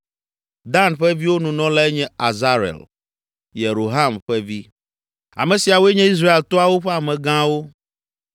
Dan ƒe viwo Nunɔlae nye Azarel, Yeroham ƒe vi. Ame siawoe nye Israel toawo ƒe amegãwo.